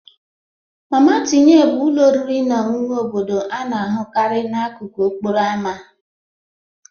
Mama tinye bụ ụlọ oriri na ọṅụṅụ obodo a na-ahụkarị n'akụkụ okporo ámá.